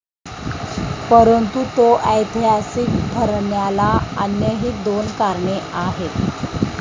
परंतु तो ऐतिहासिक ठरण्याला अन्यही दोन कारणे आहेत.